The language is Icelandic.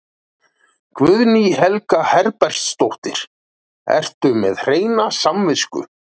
Guðný Helga Herbertsdóttir: Ertu með hreina samvisku?